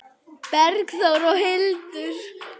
Bergþór og Hildur.